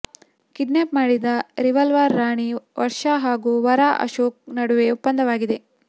kidnap ಮಾಡಿದ್ದ revolver Rani Varsha ಹಾಗೂ ವರ ಅಶೋಕ್ ನಡುವೆ ಒಪ್ಪಂದವಾಗಿದೆ